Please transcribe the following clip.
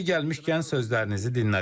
Yeri gəlmişkən sözlərinizi dinlədim.